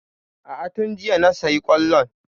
A'a tun jiya na sayi kwallon.